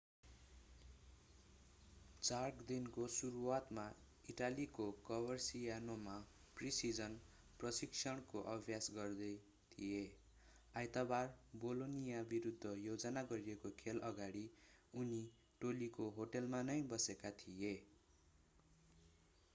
jerk दिनको सुरुवातमा इटालीको कभरसियानोमा प्रि-सिजन प्रशिक्षणको अभ्यास गर्दै थिए आइतबार बोलोनिया विरूद्ध योजना गरिएको खेल अगाडि उनी टोलीको होटलमा नै बसेका थिए